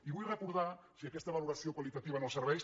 i vull recordar si aquesta valoració qualitativa en els serveis